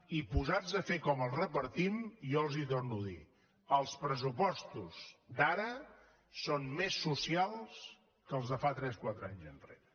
i posats a fer com els repartim jo els torno a dir els pressupostos d’ara són més socials que els de fa tres quatre anys enrere